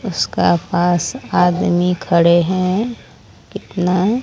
उसका पास आदमी खड़े हैं कितना--